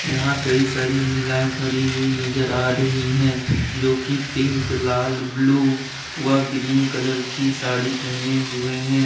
यहां कई सारी महिलाएं खड़ी हुई नजर आ रही हैं जो की पिंक लाल ब्लू व ग्रीन कलर की साड़ी पहने हुए हैं।